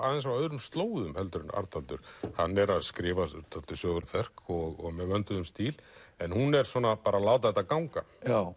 öðrum slóðum en Arnaldur hann er að skrifa dálítið sögulegt verk og með vönduðum stíl en hún er svona bara að láta þetta ganga